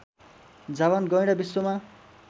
जाभान गैंडा विश्वमा